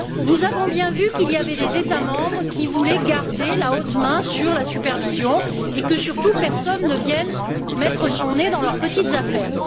Nous avons bien vu qu'il y avait des États membres qui voulaient garder la haute main sur la supervision et voulaient que, surtout, personne ne vienne mettre son nez dans leurs petites affaires.